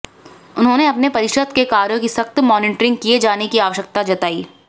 उन्होंने परिषद के कार्यो की सख्त मॉनीटरिंग किए जाने की आवश्यकता जताई